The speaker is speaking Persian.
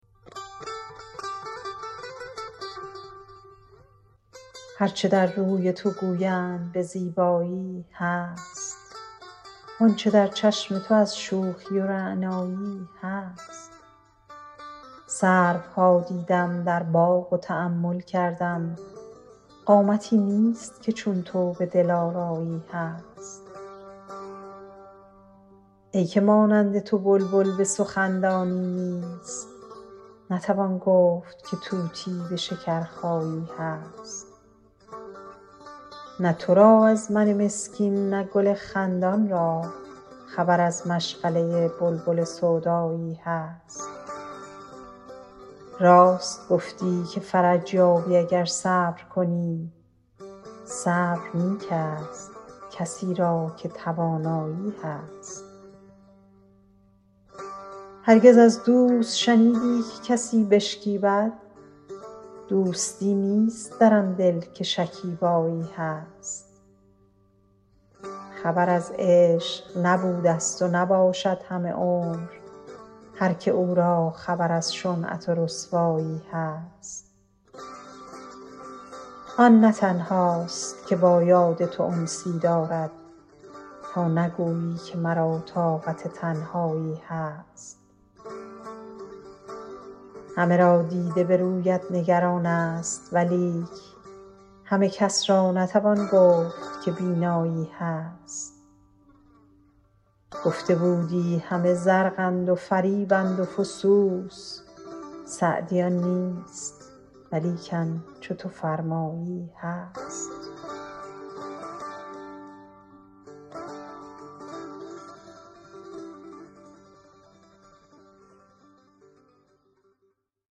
هر چه در روی تو گویند به زیبایی هست وان چه در چشم تو از شوخی و رعنایی هست سروها دیدم در باغ و تأمل کردم قامتی نیست که چون تو به دلآرایی هست ای که مانند تو بلبل به سخن دانی نیست نتوان گفت که طوطی به شکرخایی هست نه تو را از من مسکین نه گل خندان را خبر از مشغله بلبل سودایی هست راست گفتی که فرج یابی اگر صبر کنی صبر نیک ست کسی را که توانایی هست هرگز از دوست شنیدی که کسی بشکیبد دوستی نیست در آن دل که شکیبایی هست خبر از عشق نبودست و نباشد همه عمر هر که او را خبر از شنعت و رسوایی هست آن نه تنهاست که با یاد تو انسی دارد تا نگویی که مرا طاقت تنهایی هست همه را دیده به رویت نگران ست ولیک همه کس را نتوان گفت که بینایی هست گفته بودی همه زرقند و فریبند و فسوس سعدی آن نیست ولیکن چو تو فرمایی هست